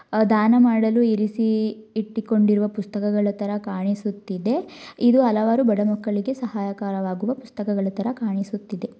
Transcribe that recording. ದಾನ ಮಾಡಲು ಇರಿಸಿ ಇಟ್ಟಿಕೊಂಡಿರುವ ಪುಸ್ತಕಗಳ ತರ ಕಾಣಿಸುತ್ತಿದೆ ಇದು ಹಲವಾರು ಬಡ ಮಕ್ಕಳಿಗೆ ಸಹಾಯಕರವಾಗಿರುವ ಪುಸ್ತಕಗಳ ರೀತಿ ಕಾಣಿಸುತ್ತಿದೆ.